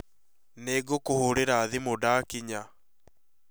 Nĩ ngũkũhũrĩra thimũ ndakĩnya